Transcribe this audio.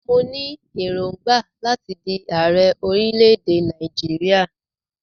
Mo ní èròngbà láti di ààrẹ orílẹ̀-èdè Nàìjíríà.